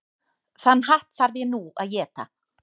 Þann hatt þarf ég nú að éta.